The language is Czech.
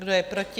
Kdo je proti?